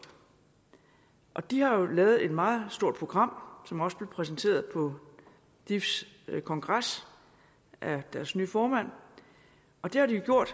og de har jo lavet et meget stort program som også blev præsenteret på difs kongres af deres nye formand og det har de jo gjort